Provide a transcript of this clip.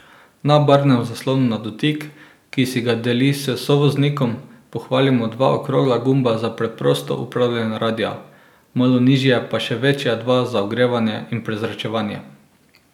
Na barvnem zaslonu na dotik, ki si ga deli s sovoznikom, pohvalimo dva okrogla gumba za preprosto upravljanje radia, malo nižje pa še večja dva za ogrevanje in prezračevanje.